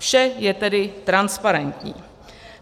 Vše je tedy transparentní.